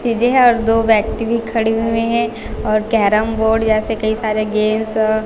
चीजें है और दो व्यक्ति भी खड़े हुए हैं और कैरम बोर्ड जैसे कई सारे गेम्स --